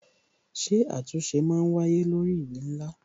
Ṣé àtúnṣe máa wáyé lórí ìwé ńlá?